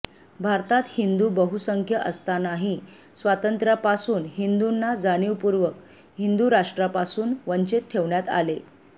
भारतात हिंदू बहुसंख्य असतांनाही स्वातंत्र्यापासून हिंदूंना जाणीवपूर्वक हिंदु राष्ट्रापासून वंचित ठेवण्यात आले